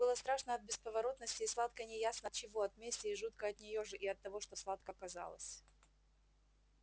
было страшно от бесповоротности и сладко неясно от чего от мести и жутко от неё же и от того что сладко казалось